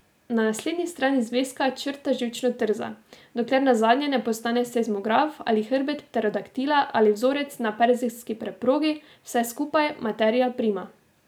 Na naslednji strani zvezka črta živčno trza, dokler nazadnje ne postane seizmograf ali hrbet pterodaktila ali vzorec na perzijski preprogi, vse skupaj, materia prima.